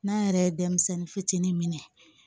N'a yɛrɛ ye denmisɛnnin fitinin minɛ